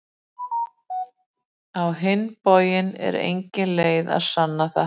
Á hinn bóginn er engin leið að sanna það.